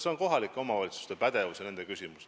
See on kohalike omavalitsuste pädevuses olev küsimus.